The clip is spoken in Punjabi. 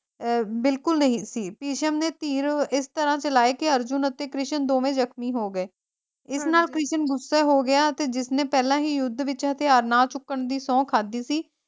ਅਹ ਬਿਲਕੁਲ ਨਹੀਂ ਸੀ ਭਿਸ਼ਮ ਨੇ ਤੀਰ ਇਸ ਤਰਾਂ ਚਲਾਏ ਕੇ ਅਰਜੁਨ ਅਤੇ ਕ੍ਰਿਸ਼ਨ ਦੋਵੇਂ ਜਖ਼ਮੀ ਹੋ ਗਏ ਇਸ ਨਾਲ ਕ੍ਰਿਸ਼ਨ ਗੁੱਸੇ ਹੋ ਗਿਆ ਤੇ ਜਿਸਨੇ ਪਹਿਲਾਂ ਹੀ ਯੁੱਧ ਵਿੱਚ ਹਥਿਆਰ ਨਾ ਚੁੱਕਣ ਦੀ ਸੌਂਹ ਖਾਦੀ ਸੀ,